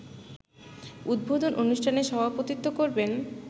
উদ্বোধন অনুষ্ঠানে সভাপতিত্ব করবেন